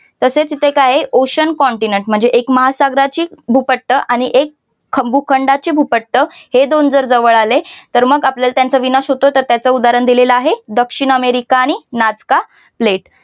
तसेच इथे काय आहे तर एक ocean continent म्हणजे महासागराची भूपट्ट आणि एक भूखंडाची भूपट्ट हे दोन जर जवळ आले तर मग आपल्याला त्यांचा विनाश होतो तर त्याच उदाहरण दिलेलं आहे दक्षिण अमेरिका आणि नासका लेट